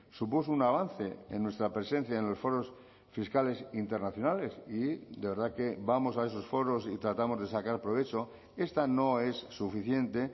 supuso un avance en nuestra presencia en los foros fiscales internacionales y de verdad que vamos a esos foros y tratamos de sacar provecho esta no es suficiente